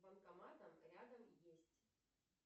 банкоматом рядом есть